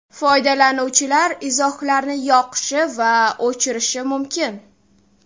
Foydalanuvchilar izohlarni yoqishi va o‘chirishi mumkin.